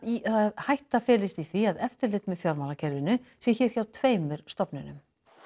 hætta felist í því að eftirlit með fjármálakerfinu sé hér hjá tveimur stofnunum